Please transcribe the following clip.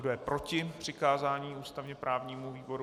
Kdo je proti přikázání ústavně právnímu výboru?